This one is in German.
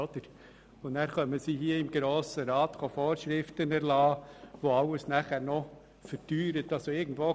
Und dann erlassen Sie hier im Grossen Rat Vorschriften, die alles noch teurer machen.